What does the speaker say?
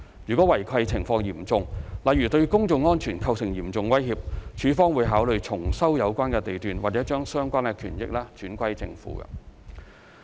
如違契情況嚴重，例如對公眾安全構成嚴重威脅，署方會考慮重收有關地段或把相關權益轉歸政府。